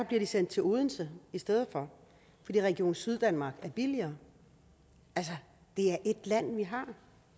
bliver de sendt til odense i stedet for fordi region syddanmark er billigere altså det er ét land vi har